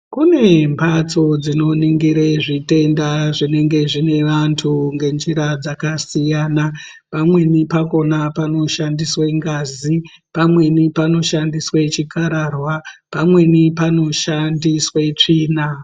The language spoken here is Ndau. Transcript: Kune mbatso dzinoningire zvitenda zvinenge zvine vantu ngenjira dzakasiyana pamweni pakhona panoshandiswe ngazii, pamweni panoshandiswe chikhararwa, pamweni panoshandiswe tsvina.